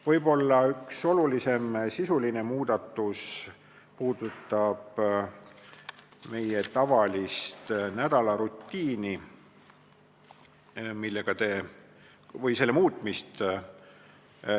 Võib-olla üks kõige olulisemaid sisulisi muudatusi puudutab meie nädalarutiini muutmist.